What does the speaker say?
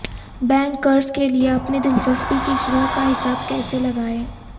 bank قرض کے لئے اپنی دلچسپی کی شرح کا حساب کیسے لگائیں